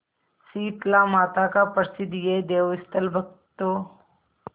शीतलामाता का प्रसिद्ध यह देवस्थल भक्तों